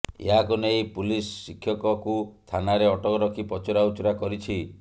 ଏହାକୁ ନେଇ ପୁଲିସ ଶିକ୍ଷକକୁ ଥାନାରେ ଅଟକ ରଖି ପଚରା ଉଚରା କରିଛି